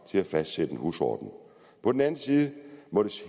til at fastsætte en husorden på den anden side må det